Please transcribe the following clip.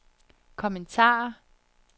kommentarer